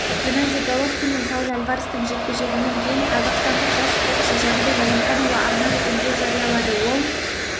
генадий головкин мен сауль альварестің жекпе-жегінен кейін қазақстандық жас спортшы жәнібек әлімханұлы арнайы үндеу жариялады ол